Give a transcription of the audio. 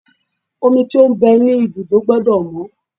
Omi tó ń bẹ ní ibùdó gbọ́dọ̀ mọ́.